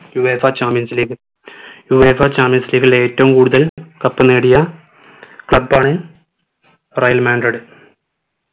UEFAchampions leagueUEFAchampions league ൽ ഏറ്റവും കൂടുതൽ cup നേടിയ club ആണ് real madrid